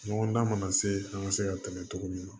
Ɲɔgɔndan mana se an ka se ka tɛmɛ togo min na